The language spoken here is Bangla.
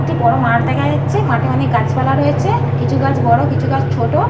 একটি বড় মাঠ দেখা যাচ্ছে। মাঠে অনেক গাছপালা রয়েছে। কিছু গাছ বড় কিছু গাছ ছোট।